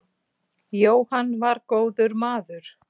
Jóhann var góður maður.